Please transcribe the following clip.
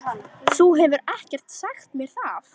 Þú hefur ekkert sagt mér það!